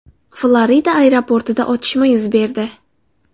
Florida aeroportida otishma yuz berdi.